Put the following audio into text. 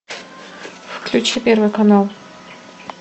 включи первый канал